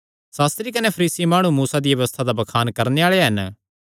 सास्त्री कने फरीसी माणु मूसा दिया व्यबस्था दा बखान करणे आल़े हन